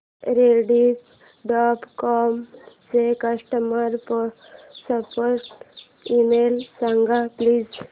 Rediff dot com चा customer support email सांग please